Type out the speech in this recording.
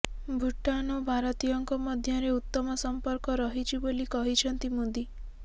ଭୁଟାନ ଓ ଭାରତୀୟଙ୍କ ମଧ୍ୟରେ ଉତ୍ତମ ସମ୍ପର୍କ ରହିଛି ବୋଲି କହିଛନ୍ତି ମୋଦି